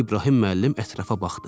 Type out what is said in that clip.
İbrahim müəllim ətrafa baxdı.